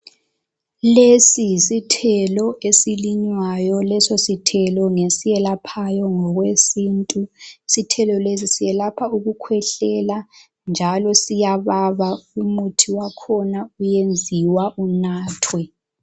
Lesi yisithelo esilinywayo. Leso sithelo ngesiyelaphayo ngokwesintu. Isithelo lesi siyelapha ukukhwehlela, njalo siyababa. Umuthi wakhona uyenziwa unathwe.